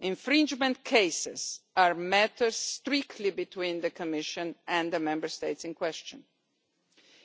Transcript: Infringement cases are matters strictly between the Commission and the Member States in question.